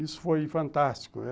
Isso foi fantástico.